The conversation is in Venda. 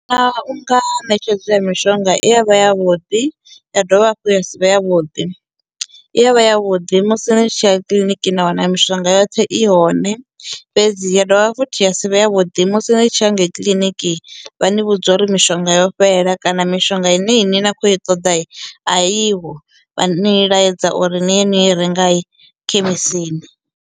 Ṋetshedzo ya mishonga i ya vha ya vhuḓi ya dovha hafhu ya sivhe ya vhuḓi, i ya vha ya vhuḓi musi ni tshiya kiḽiniki na wana mishonga yoṱhe i hone fhedzi ya dovha futhi ya si vhe ya vhuḓi musi ni tshi ya ngei kiḽiniki vha ni vhudza uri mishonga yo fhela kana mishonga ine ini na kho i ṱoḓa i a i ho vha ni laedza uri ni ye niyo renga i khemisini.